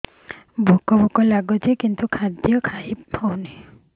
ଭୋକ ଭୋକ ଲାଗୁଛି କିନ୍ତୁ ଖାଦ୍ୟ ଖାଇ ହେଉନି